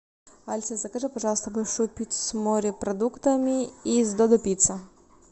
алиса закажи пожалуйста большую пиццу с морепродуктами из додо пицца